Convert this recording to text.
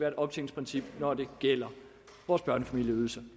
et optjeningsprincip når det gælder vores børnefamilieydelser